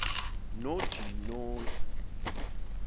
nojinoyi